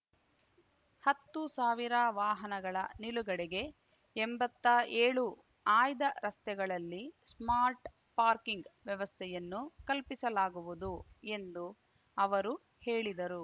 ಹತ್ತು ಸಾವಿರ ವಾಹನಗಳ ನಿಲುಗಡೆಗೆ ಎಂಬತ್ತಾ ಏಳು ಆಯ್ದ ರಸ್ತೆಗಳಲ್ಲಿ ಸ್ಮಾರ್ಟ್ ಪಾರ್ಕಿಂಗ್ ವ್ಯವಸ್ಥೆಯನ್ನು ಕಲ್ಪಿಸಲಾಗುವುದು ಎಂದು ಅವರು ಹೇಳಿದರು